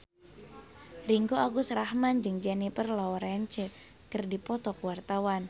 Ringgo Agus Rahman jeung Jennifer Lawrence keur dipoto ku wartawan